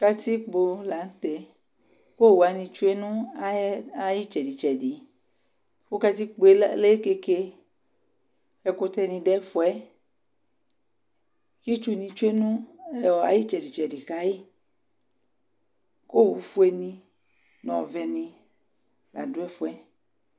Katikpo la nʋ teɛ k'owuwanɩ tsue nʋ ay'ɩtsɛdɩ tsɛdɩ Kʋ katikpoe le keke ,ɛkʋtɛ nɩ dʋ ɛfʋɛ Itsu dɩnɩ tsue n'ayɩtsɛdɩ kayɩ ,k'owufue ,nʋ ɔvɛnɩ la dʋ ɛfʋɛ